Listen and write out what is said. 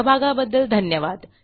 सहभागाबद्दल धन्यवाद